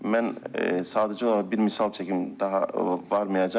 Mən sadəcə olaraq bir misal çəkim, daha varmayacam.